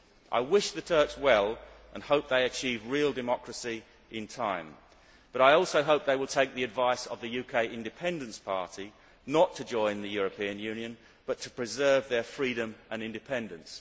I wish the Turks well and hope they achieve real democracy in time, but I also hope they will take the advice of the UK Independence Party not to join the European Union but to preserve their freedom and independence.